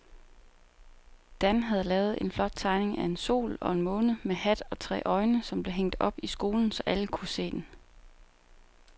Dan havde lavet en flot tegning af en sol og en måne med hat og tre øjne, som blev hængt op i skolen, så alle kunne se den.